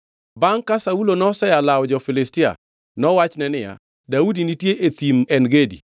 Bangʼ ka Saulo nosea lawo jo-Filistia, nowachne niya, “Daudi nitie e Thim En Gedi.”